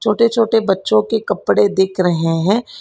छोटे छोटे बच्चों के कपड़े दिख रहे हैं।